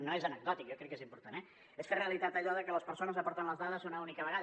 no és anecdòtic jo crec que és important eh de que les persones aporten les dades una única vegada